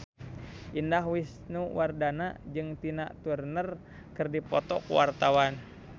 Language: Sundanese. Indah Wisnuwardana jeung Tina Turner keur dipoto ku wartawan